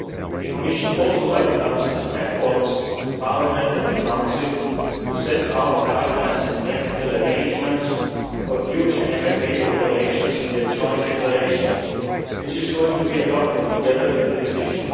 The Commission also welcomes the efforts by Parliament and the Council to set out guidelines and practical arrangements for future MFA operations in their joint declaration which is to be adopted together with the decision.